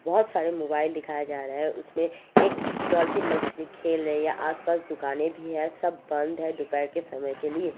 बोहोत सारे मोबाइल दिखया जारा है उसमे एक डॉलफिन मछली खेल रही है आस-पास दुकाने भी है सब बंध है दोपहर के समय के लिए--